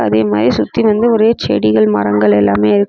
அதே மாரி சுத்தி வந்து ஒரே செடிகள் மரங்கள் எல்லாமே இருக்.